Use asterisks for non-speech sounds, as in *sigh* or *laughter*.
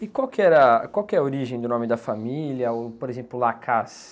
E qual que era, qual que é a origem do nome da família, o, por exemplo? *unintelligible*